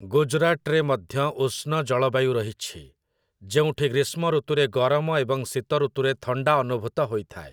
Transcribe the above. ଗୁଜରାଟରେ ମଧ୍ୟ ଉଷ୍ଣ ଜଳବାୟୁ ରହିଛି, ଯେଉଁଠି ଗ୍ରୀଷ୍ମଋତୁରେ ଗରମ ଏବଂ ଶୀତଋତୁରେ ଥଣ୍ଡା ଅନୁଭୂତ ହୋଇଥାଏ ।